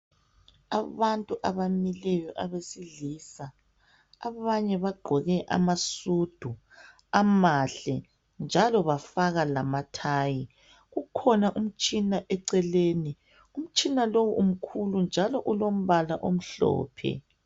Abantu abamileyo abesilisa abanye bagqoke amasudu amahle njalo bafaka lamathayi ukhona umtshina eceleni umtshina lo umkhulu njalo ulombala omhlophe